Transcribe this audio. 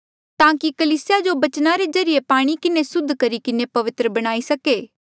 ताकि कलीसिया जो बचना रे ज्रीए पाणी किन्हें सुद्ध करी किन्हें पवित्र बणाई सके